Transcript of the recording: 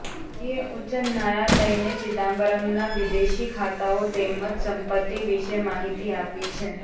ઇડીએ ઉચ્ચ ન્યાયાલયને ચિદમ્બરમના વિદેશી ખાતાઓ તેમજ સંપત્તિ વિશે માહિતી આપી છે